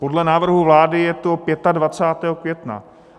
Podle návrhu vlády je to 25. května.